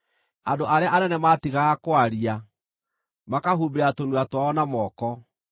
andũ arĩa anene maatigaga kwaria, makahumbĩra tũnua twao na moko;